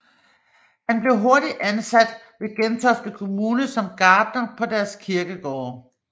Han blev hurtigt ansat ved Gentofte kommune som gartner på deres kirkegårde